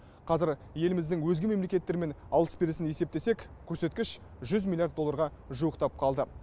қазір еліміздің өзге мемлекеттермен алыс берісін есептесек көрсеткіш жүз миллиард долларға жуықтап қалды